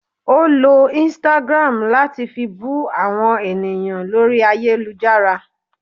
Ọ ló Instagram latí fí bú àwọn ènìyàn lórí ayélujára